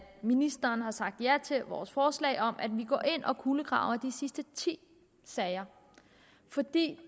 ministeren har sagt ja til vores forslag om at vi går ind og kulegraver de sidste ti sager for det